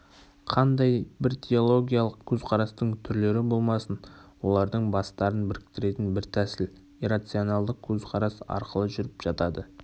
қандай бір теологиялық көзқарастың түрлері болмасын олардың бастарын біріктіретін бір тәсіл иррационалдық көзқарас арқылы жүріп жатады